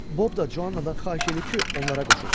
Bob da Cuannadan xahiş eləyib ki, onlara qoşulsun.